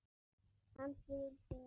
Kannski vildi